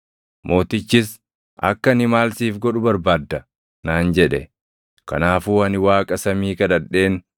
Mootichis, “Akka ani maal siif godhu barbaadda?” naan jedhe. Kanaafuu ani Waaqa samii kadhadheen